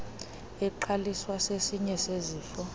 eqaliswa sesinye sezifo